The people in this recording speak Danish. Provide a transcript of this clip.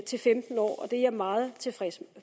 til femten år og det er jeg meget tilfreds